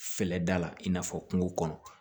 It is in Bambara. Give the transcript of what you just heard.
Fɛlɛda la i n'a fɔ kungo kɔnɔ